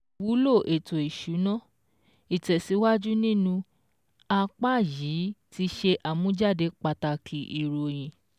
Ìwúlò ètò ìsúná, ìtẹ̀síwájù nínú apá yìí tí ṣe àmújáde pàtàkì ìròyìn